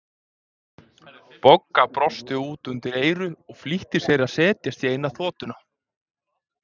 Bogga brosti út undir eyru og flýtti sér að setjast í eina þotuna.